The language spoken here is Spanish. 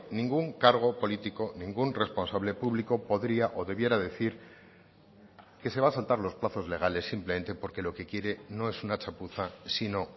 ningún cargo político ningún responsable público podría o debiera decir que se va a saltar los plazos legales simplemente porque lo que quiere no es una chapuza sino